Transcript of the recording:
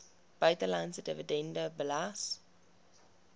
buitelandse dividende belas